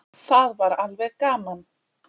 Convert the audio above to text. Það var alveg gaman.